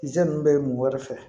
Ze ninnu bɛ mɔgɔ wɛrɛ fɛ